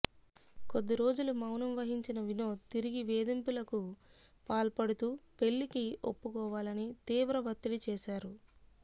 కొద్ది రోజులు మౌనం వహించిన వినోద్ తిరిగి వేధిం పులకు పాల్పడుతూ పెళ్లికి ఒప్పు కోవాలని తీవ్ర వత్తిడి చేశారు